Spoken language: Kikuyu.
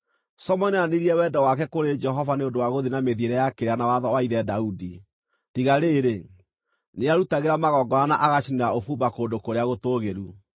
Solomoni nĩonanirie wendo wake kũrĩ Jehova nĩ ũndũ wa gũthiĩ na mĩthiĩre ya kĩrĩra na watho wa ithe Daudi, tiga rĩrĩ, nĩarutagĩra magongona na agacinĩra ũbumba kũndũ kũrĩa gũtũũgĩru.